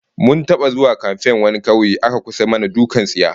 Mun taba zuwa kamfen wani kauye aka kusa mana dukkan tsiya